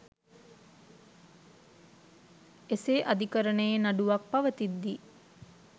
එසේ අධිකරණයේ නඩුවක් පවතිද්දී